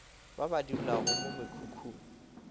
ba ba dulago mo mekhukhung